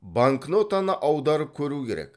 банкнотаны аударып көру керек